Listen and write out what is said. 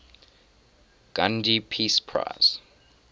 gandhi peace prize